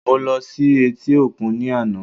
Mo ló sí etí òkun ní àná